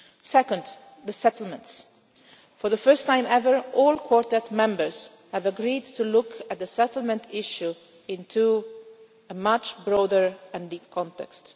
threat. Second, the settlements for the first time ever, all Quartet members have agreed to look at the settlement issue in a much broader and deeper